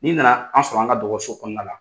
Ni na na an sɔrɔ an ka dɔgɔso kɔnɔna la.